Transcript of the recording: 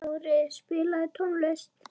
Kári, spilaðu tónlist.